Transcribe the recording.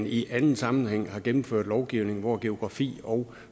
i anden sammenhæng har gennemført lovgivning hvor geografi og